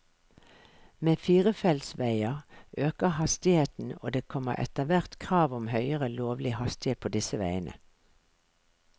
Med firefeltsveier øker hastigheten, og det kommer etterhvert krav om høyere lovlig hastighet på disse veiene.